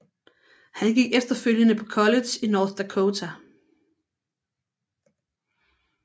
Han gik efterfølgende på college i North Dakota